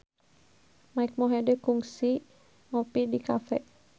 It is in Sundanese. Mike Mohede kungsi ngopi di cafe